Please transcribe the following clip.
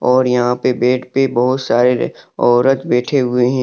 और यहां पे बेड पे बहुत सारे औरत बैठे हुए हैं।